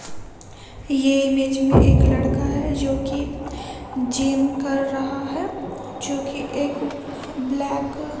यह इमेज में एक लड़का है जो कि जिम कर रहा है जो की एक ब्लैक --